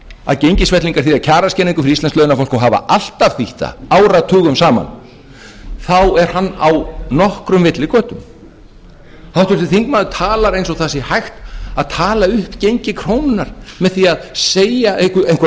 að gengisfellingar þýða kjaraskerðingu fyrir íslenskt launafólk og hafa alltaf þýtt það áratugum saman þá er hann á nokkrum villigötum háttvirtur þingmaður talar eins og það sé hægt að tala upp gengi krónunnar með því að segja einhverja